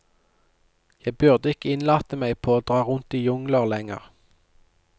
Jeg burde ikke innlate meg på å dra rundt i jungler lenger.